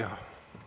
Aitäh!